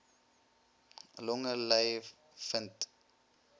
longe ly vind